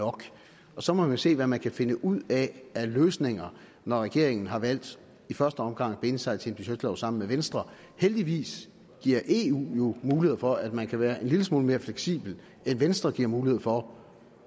nok så må man se hvad man kan finde ud af af løsninger når regeringen har valgt i første omgang at binde sig til en budgetlov sammen med venstre heldigvis giver eu jo mulighed for at man kan være en lille smule mere fleksibel end venstre giver mulighed for